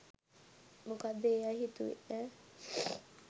මොකද ඒ අය හිතුවේ ඈ